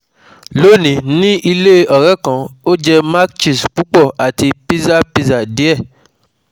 Lónìí, ní ilé ọ̀rẹ́ kan, ó jẹ cs] mac cheese pupo àti pizza pizza die